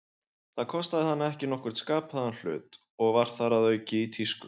Það kostaði hana ekki nokkurn skapaðan hlut, og var þar að auki í tísku.